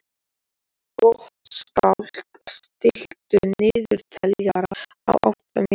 Gottskálk, stilltu niðurteljara á átta mínútur.